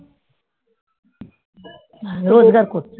হ্যাঁ রোজগার করছে